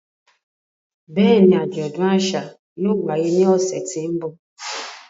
Bẹ́ẹ̀ni, ajọdun aṣa yóò waye ni ọsẹ ti n bọ.